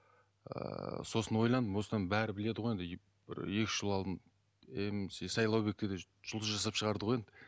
ыыы сосын ойландым осыдан бәрі біледі ғой енді бір екі үш жыл алдын мс сайлаубекті де жұлдыз жасап шығарды ғой енді